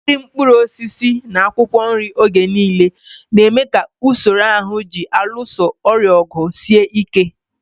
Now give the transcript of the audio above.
Iri mkpụrụ osisi na akwụkwọ nri oge niile na-eme ka usoro ahụ ji alụso ọrịa ọgụ sie ike.